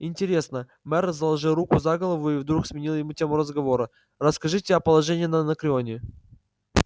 интересно мэр заложил руки за голову и вдруг сменил тему разговора расскажите о положении на анакреоне